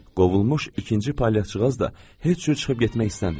Qovulmuş ikinci palyaqçıqaz da heç cür çıxıb getmək istəmirdi.